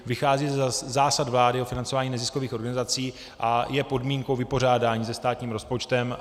Vychází ze zásad vlády o financování neziskových organizací a je podmínkou vypořádání se státním rozpočtem.